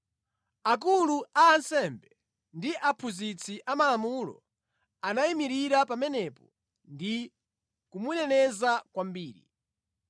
Akulu a ansembe ndi aphunzitsi amalamulo, anayimirira pamenepo ndi kumuneneza kwambiri.